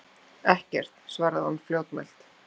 Ekkert, svaraði hún fljótmælt.